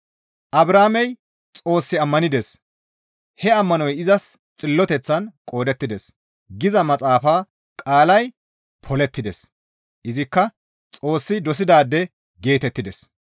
«Abrahaamey Xoos ammanides; he ammanoy izas xilloteththan qoodettides» giza maxaafaa qaalay polettides; izikka Xoossi dosidaade geetettides.